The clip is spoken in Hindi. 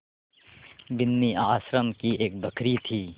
बिन्नी आश्रम की एक बकरी थी